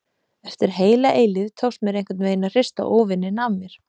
Eftir heila eilífð tókst mér einhvern veginn að hrista óvininn af mér.